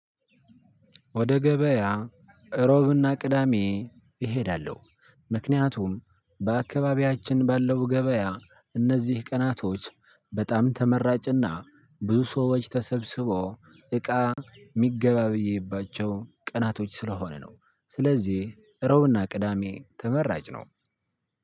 ወደ ገበያ እሮብና ቅዳሜ እሄዳለሁ። ምክንያቱም በአካባቢያችን ባለው ገበያ እነዚህ ቀናቶች በጣም ተመራጭና ብዙ ሰዎች ተሰብስቦ እቃ የሚገበያይባቸው ቀናቶች ስለሆነ ነው። ስለዚህ እሮብና ቅዳሜ ተመራጭ ነው።